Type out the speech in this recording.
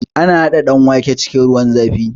Ana haɗa danwake cikin ruwan zafi